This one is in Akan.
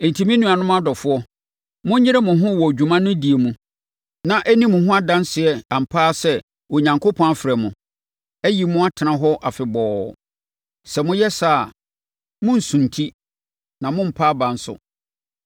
Enti, me nuanom adɔfoɔ, monyere mo ho wɔ dwuma no die mu, na ɛnni mo ho adanseɛ ampa ara sɛ Onyankopɔn afrɛ mo, ayi mo atena hɔ afebɔɔ. Sɛ moyɛ saa a, morensunti na morempa aba nso.